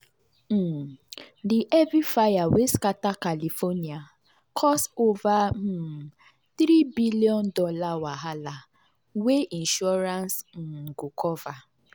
um the heavy fire wey scatter california cause over um $3 billion wahala wey insurance um go cover.